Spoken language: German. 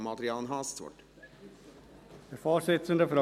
Kann ihn noch rasch jemand einloggen?